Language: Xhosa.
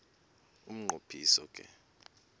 umnqo phiso ke